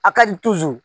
A ka n